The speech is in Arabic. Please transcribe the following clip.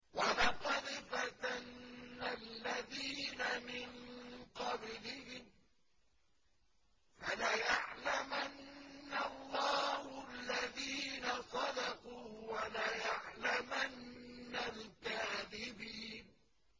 وَلَقَدْ فَتَنَّا الَّذِينَ مِن قَبْلِهِمْ ۖ فَلَيَعْلَمَنَّ اللَّهُ الَّذِينَ صَدَقُوا وَلَيَعْلَمَنَّ الْكَاذِبِينَ